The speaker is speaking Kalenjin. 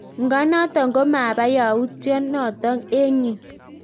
Nga notok komapaa yautyo notok eng yuu